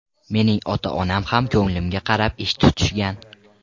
Mening ota-onam ham ko‘nglimga qarab ish tutishgan.